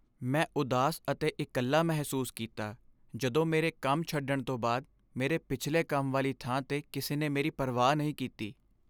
ਮੈਂ ਉਦਾਸ ਅਤੇ ਇਕੱਲਾ ਮਹਿਸੂਸ ਕੀਤਾ ਜਦੋਂ ਮੇਰੇ ਕੰਮ ਛੱਡਣ ਤੋਂ ਬਾਅਦ ਮੇਰੇ ਪਿਛਲੇ ਕੰਮ ਵਾਲੀ ਥਾਂ 'ਤੇ ਕਿਸੇ ਨੇ ਮੇਰੀ ਪਰਵਾਹ ਨਹੀਂ ਕੀਤੀ।